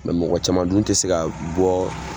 Mɛ mɔgɔ caman dun te se ka bɔ